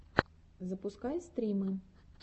запускай стримы